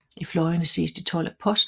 I fløjene ses de 12 apostle